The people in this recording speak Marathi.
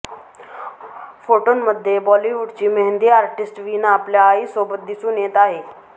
फोटोंमध्ये बॉलिवूडची मेहंदी आर्टिस्ट वीना आपल्या आईसोबत दिसून येत आहे